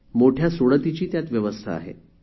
मोठ्या सोडतीची त्यात व्यवस्था आहे